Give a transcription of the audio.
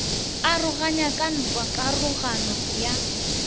aroganywa ke ntwa karogano ya